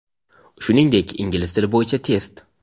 shuningdek ingliz tili bo‘yicha test.